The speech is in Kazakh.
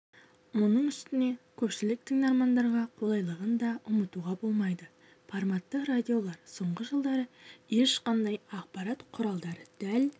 оның үстіне көпшілік тыңдармандарға қолайлылығын да ұмытуға болмайды форматты радиолар соңғы жылдары ешқандай ақпарат құралы дәл